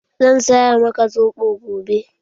Zan saya maka zobo gobe.